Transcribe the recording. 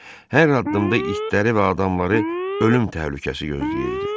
Hər addımda itləri və adamları ölüm təhlükəsi gözləyirdi.